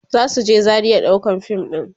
zasu je Zaria ɗaukan fim ɗin